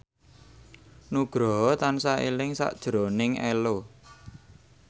Nugroho tansah eling sakjroning Ello